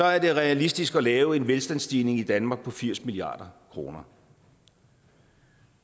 er det realistisk at lave en velstandsstigning i danmark på firs milliard kroner